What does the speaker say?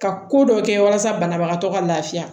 Ka ko dɔ kɛ walasa banabagatɔ ka laafiya